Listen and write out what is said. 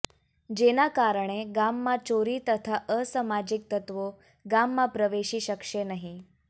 જેના કારણે ગામમાં ચોરી તથા અસામાજીક તત્વો ગામમાં પ્રવેશી શકશે નહી